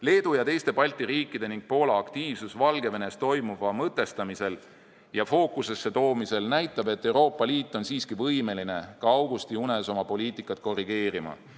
Leedu ja teiste Balti riikide ning Poola aktiivsus Valgevenes toimuva mõtestamisel ja fookusesse toomisel näitab, et Euroopa Liit on siiski võimeline ka augustiunes oma poliitikat korrigeerima.